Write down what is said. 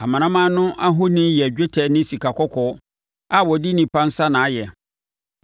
Amanaman no ahoni yɛ dwetɛ ne sikakɔkɔɔ a wɔde onipa nsa na ayɛ.